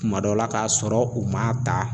Kuma dɔ la k'a sɔrɔ u ma ta